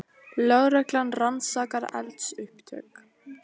Lögreglan rannsakar eldsupptök